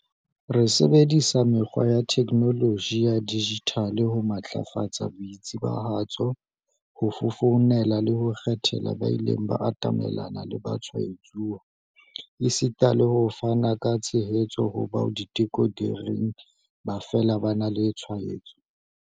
Re sebedisa mekgwa ya theknoloji ya dijithale ho matlafatsa boitsebahatso, ho fofonela le ho kgethela ba ileng ba atamelana le batshwaetsuwa, esita le hona ho fana ka tshehetso ho bao diteko di reng ba fela ba na le tshwaetso.